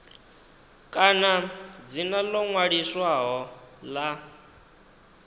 kana dzina ḽo ṅwaliswaho ḽa